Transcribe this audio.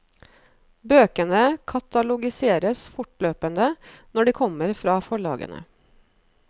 Bøkene katalogiseres fortløpende når de kommer fra forlagene.